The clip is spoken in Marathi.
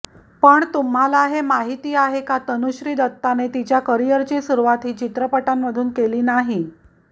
पण तुम्हाला हे माहिती आहे का तनुश्री दत्ताने तिच्या करिअरची सुरुवात ही चित्रटांमधून केली नाहीय